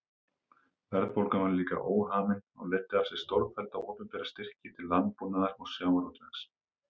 Verðbólgan var líka óhamin og leiddi af sér stórfellda opinbera styrki til landbúnaðar og sjávarútvegs.